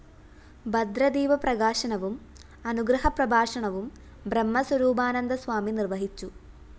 ഭദ്രദീപ പ്രകാശനവും അനുഗ്രഹപ്രഭാഷണവും ബ്രഹ്മസ്വരൂപാനന്ദസ്വമി നിര്‍വഹിച്ചു